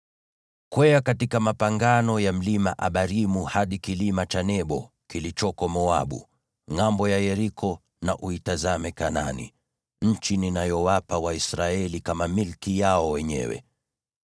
“Kwea katika mapangano ya Mlima Abarimu hadi kilima cha Nebo kilichoko Moabu, ngʼambo ya Yeriko, na uitazame Kanaani, nchi ninayowapa Waisraeli kama milki yao wenyewe.